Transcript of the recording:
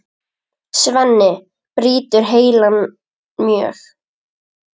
Svenni brýtur heilann mjög.